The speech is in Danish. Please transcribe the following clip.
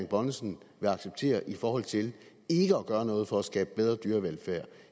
bonnesen vil acceptere i forhold til ikke at gøre noget for at skabe bedre dyrevelfærd